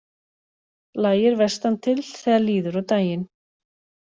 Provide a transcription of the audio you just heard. Lægir vestantil þegar líður á daginn